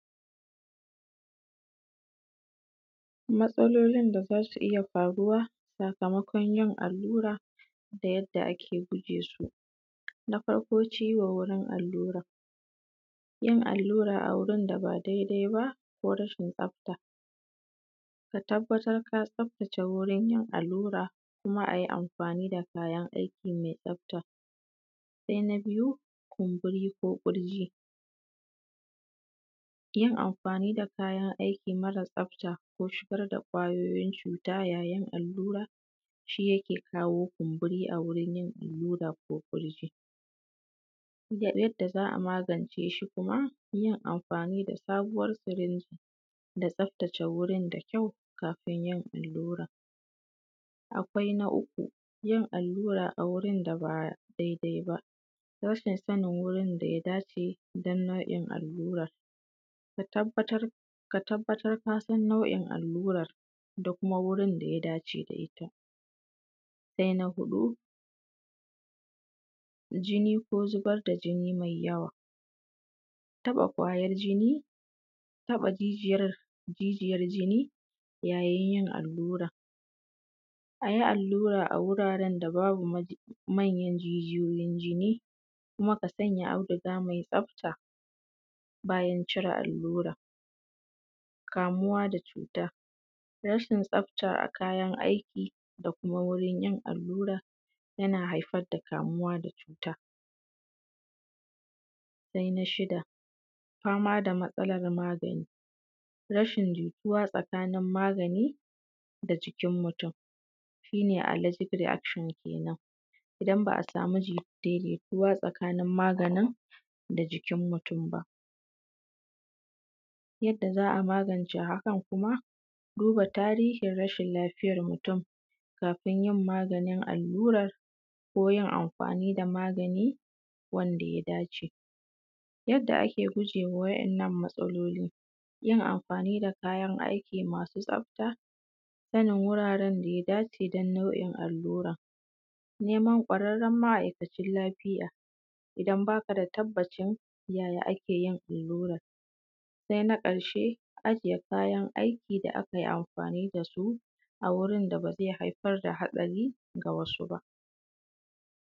Matsalolin da za su iya faruwa sakamakon yin allura da yadda ake guje su na farko ciwo wurin alluran yin allura a wurin da baa daidai ba ko rashin tsafta, ka tabbatar kaa tsaftace wurin yin allura, kuma a yi amfaani da kayan aiki mai tsafta. Sai na biyu, kumburi ko ƙurjii yin amfaani da kayan aiki mara tsafta ko shigar da ƙwayooyin cuuta a yayin allura shi yake kawoo kumburi a wurin yin allura ko ƙurjii, jadda za a magance shi kuma yin amfaani da sabuwar sirinji da tsaftace wurin dakyau kafin yin alluran. Akwai na uku yin allura a wurin da baa daidai ba, rashin sanin wurin da ya dace don nau'in allura ka tabbatar kaa san nau'in alluran da kuma wurin da ya dacee da ita. Sai na huɗu jini ko zubar da jini mai yawa, taɓa ƙwayar jini, taɓa jijiyar jini yayin yin alluran, a yi allura a wuraaren da babu manyan jijiyoyin jini kuma ka sanya auduga mai tsafta bayan cire alluran. Kamuwa da cuuta, rashin tsafta a kayan aiki da kuma wurin yin allura yana haifar da kamuwa da cuuta. Sai na shida fama da matsalar magani rashin jituwa tsakaanin magani da jikin mutum shi nee allergic reaction kenan idan ba a samu daidaituwa tsakaanin maganin da jikin mutum ba, yadda za a magance hakan kuma, duba tarihin rashin lafiyar mutum kafin yin maganin allurar koo yin amfaani da magani wanda ya dace. Yadda ake gujee wa wa'yannan matsaloli; yin amfaani da kayan aiki masu tsafta, sanin wuraren da ya dace don nau'in allura nema ƙwararren ma’aikacin lafiya idan baa ka da tabbacin yaya ake yin allurar. Sai na ƙarshee, ajiye kayan aiki da aka yi amfaani da su a wurin da ba zai haifar da hatsari ga wasu ba.